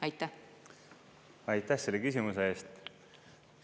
Aitäh selle küsimuse eest!